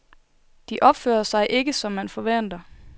De opfører sig ikke som man forventer.